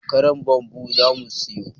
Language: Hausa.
Karar bambu zamu siyo